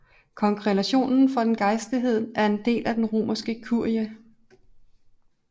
Kongregationen for gejstligheden er en del af Den romerske kurie